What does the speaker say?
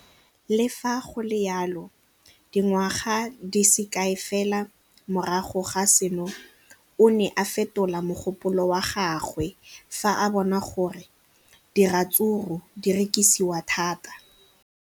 Le fa go le jalo, dingwaga di se kae fela morago ga seno, o ne a fetola mogopolo wa gagwe fa a bona gore diratsuru di rekisiwa thata.